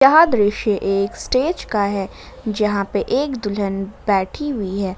यह दृश्य एक स्टेज का है जहां पे एक दुल्हन बैठी हुई है।